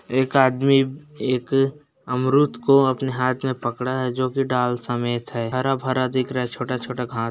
एक आदमी एक अमरुद को अपने हाथ में पकड़ा है जो की डाल की समेत है हरा भरा दिख रहा है छोटा छोटा घास --